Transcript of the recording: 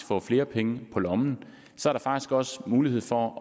får flere penge på lommen der er faktisk også mulighed for